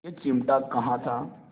यह चिमटा कहाँ था